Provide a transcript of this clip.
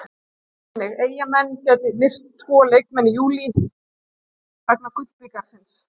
Sjá einnig: Eyjamenn gætu misst tvo leikmenn í júlí vegna Gullbikarsins